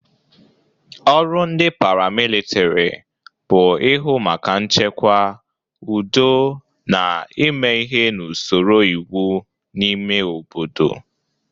Ọrụ ndị paramilitiri bụ ịhụ maka nchekwa, udo na ime ihe n'usoro iwe n'ime obodo.